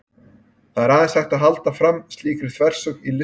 það er aðeins hægt að halda fram slíkri þversögn í listum